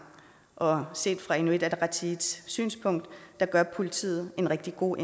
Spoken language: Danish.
og set fra inuit ataqatigiits synspunkt gør politiet en rigtig god